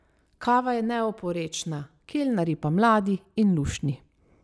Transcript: Kava je neoporečna, kelnarji pa mladi in luštni.